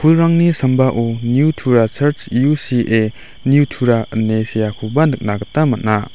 ulrangni sambao niu tura charj U_C_A niu tura ine seakoba nikna gita man·a.